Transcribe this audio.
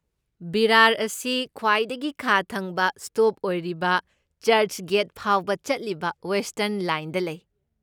ꯚꯤꯔꯥꯔ ꯑꯁꯤ ꯈ꯭ꯋꯥꯏꯗꯒꯤ ꯈꯥ ꯊꯪꯕ ꯁ꯭ꯇꯣꯞ ꯑꯣꯏꯔꯤꯕ ꯆꯔꯆꯒꯦꯠ ꯐꯥꯎꯕ ꯆꯠꯂꯤꯕ ꯋꯦꯁꯇ꯭ꯔꯟ ꯂꯥꯏꯟꯗ ꯂꯩ꯫